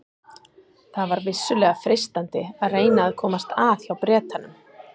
Það var vissulega freistandi að reyna að komast að hjá Bretanum.